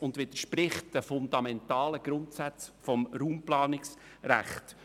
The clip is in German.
Zudem widerspricht es den fundamentalen Grundsätzen des Raumplanungsrechts.